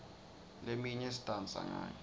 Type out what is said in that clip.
leminye sidansa ngayo